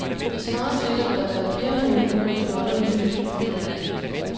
Det svarer til, at der hvert fjerde minut bliver stjålet en cykel et sted i landet.